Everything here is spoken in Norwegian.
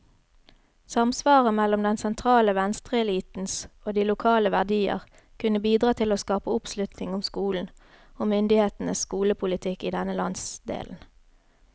Samsvaret mellom den sentrale venstreelitens og de lokale verdier kunne bidra til å skape oppslutning om skolen, og myndighetenes skolepolitikk i denne landsdelen.